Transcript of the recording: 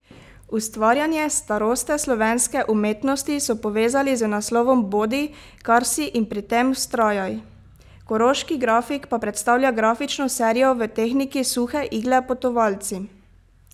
Ustvarjanje staroste slovenske umetnosti so povezali z naslovom Bodi, kar si, in pri tem vztrajaj, koroški grafik pa predstavlja grafično serijo v tehniki suhe igle Potovalci.